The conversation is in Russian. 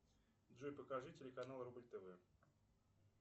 джой покажи телеканал рубль тв